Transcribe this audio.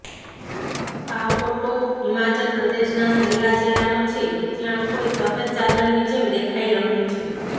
આ ફોટો હિમાચલ પ્રદેશના શિમલા જિલ્લાનો છે જ્યાં કોઈ સફેદ ચાદરની જેમ દેખાઈ રહ્યુ છે